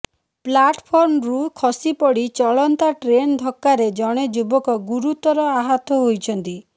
ପ୍ଲାଟଫର୍ମରୁ ଖସିପଡି ଚଳନ୍ତା ଟ୍ରେନ୍ ଧକ୍କାରେ ଜଣେ ଯୁବକ ଗୁରୁତର ଆହତ ହୋଇଛନ୍ତି